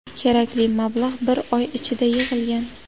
Kerakli mablag‘ bir oy ichida yig‘ilgan.